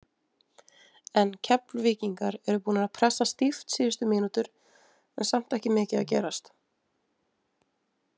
En Keflvíkingar eru búnir að pressa stíft síðustu mínútur en samt ekki mikið að gerast.